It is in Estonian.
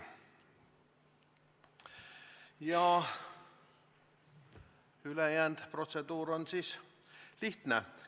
Ja ülejäänud protseduur on lihtne.